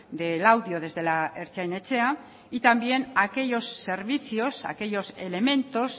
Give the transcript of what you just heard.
de laudio desde la ertzain etxea y también aquellos servicios aquellos elementos